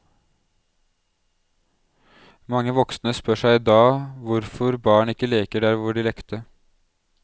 Mange voksne spør seg i dag hvorfor barn ikke leker der hvor de lekte.